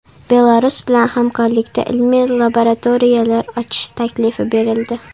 Belarus bilan hamkorlikda ilmiy laboratoriyalar ochish taklifi berildi.